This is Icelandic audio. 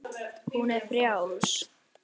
Hún er frjáls.